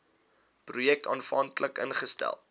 projek aanvanklik ingestel